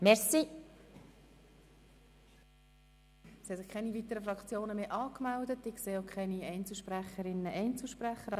Nun sind keine weiteren Fraktionen mehr angemeldet, und ich sehe auch keine Einzelsprecherinnen und Einzelsprecher.